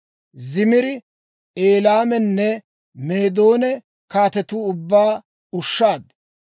Zimira, Elaamanne Meedoona kaatetuwaa ubbaa ushshaad.